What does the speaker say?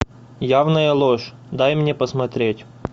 явная ложь дай мне посмотреть